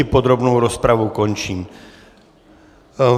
I podrobnou rozpravu končím.